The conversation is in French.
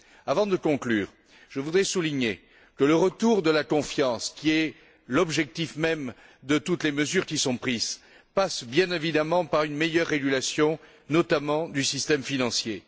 Avant de conclure, je voudrais souligner que le retour de la confiance, qui est l'objectif même de toutes les mesures qui sont prises, passe bien évidemment par une meilleure régulation, notamment du système financier.